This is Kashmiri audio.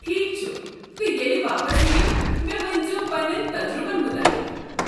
ٹھیکھ چھُ تہٕ ییٚلہِ واپس یِیو مےٚ ؤنزِیو پنٛنین تجرُبن مُتعلق۔